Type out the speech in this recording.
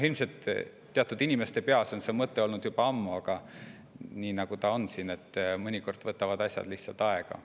Ilmselt teatud inimeste peas on see mõte olnud juba väga ammu, aga nii ta on, et mõnikord võtavad asjad lihtsalt aega.